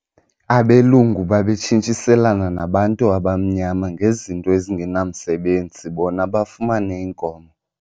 Abelungu babetshintshiselana nabantu abamnyama ngezinto ezingenamsebenzi bona bafumane iinkomo.